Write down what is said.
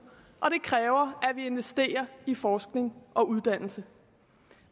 og det kræver at vi investerer i forskning og uddannelse